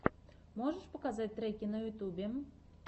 можешь показать треки на ютюбе